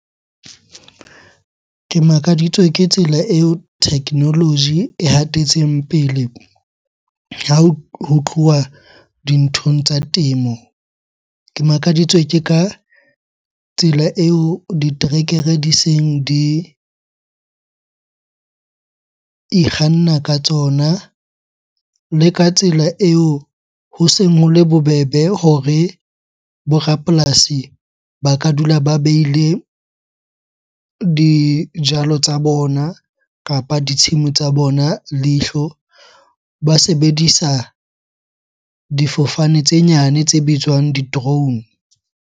Ke makaditswe ke tsela eo technology e hatetseng pele ha ho tluwa dinthong tsa temo. Ke makaditswe ke ka tsela eo diterekere di seng di ikganna ka tsona. Le ka tsela eo ho seng ho le bobebe hore bo rapolasi ba ka dula ba beile dijalo tsa bona kapa ditshimo tsa bona leihlo. Ba sebedisa difofane tse nyane tse bitswang di-drone.